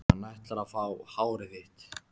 Hann ætlar að fá hárið þitt.